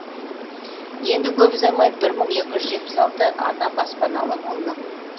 енді көп ұзамай бір мың екі жүз жетпіс алты ана баспаналы болмақ